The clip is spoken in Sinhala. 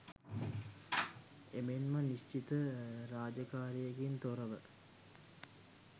එමෙන්ම නිශ්චිත රාජකාරියකින් තොරව